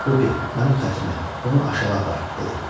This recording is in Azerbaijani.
Bupi, mənim xətrimə bunu aşağı apar, dedi.